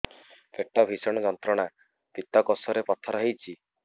ପେଟ ଭୀଷଣ ଯନ୍ତ୍ରଣା ପିତକୋଷ ରେ ପଥର ହେଇଚି